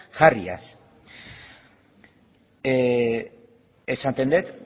jarriaz esaten dut